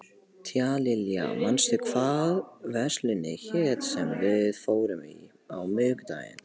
Tíalilja, manstu hvað verslunin hét sem við fórum í á miðvikudaginn?